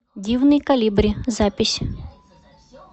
дивный колибри запись